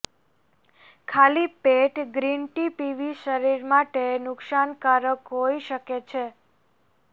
ખાલી પેટ green tea પીવી શરીર માટે નુકશાનકારક હોઈ શકે છે